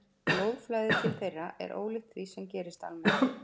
Blóðflæði til þeirra er ólíkt því sem gerist almennt.